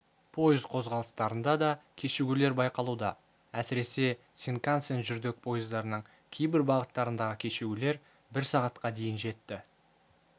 пойыз қозғалыстарында да кешігулер байқалуда әсіресе синкансен жүрдек пойыздарының кейбір бағыттарындағы кешігулер бір сағатқа дейін жетті